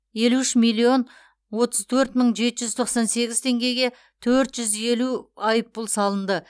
елу үш миллион отыз төрт мың жеті жүз тоқсан сегіз теңгеге төрт жүз елу айыппұл салынды